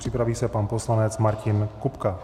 Připraví se pan poslanec Martin Kupka.